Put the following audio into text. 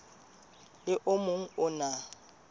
le o mong o na